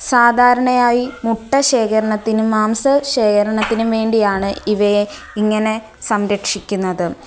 സാധാരണയായി മുട്ട ശേഖരണത്തിനും മാംസ ശേഖരണത്തിനും വേണ്ടിയാണ് ഇവയെ ഇങ്ങനെ സംരക്ഷിക്കുന്നത്.